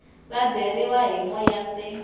va beriwa hi moya se